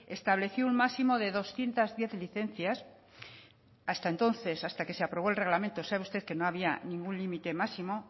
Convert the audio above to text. estableció un máximo de doscientos diez licencias hasta entonces hasta que se aprobó el reglamento sabe usted que no había ningún límite máximo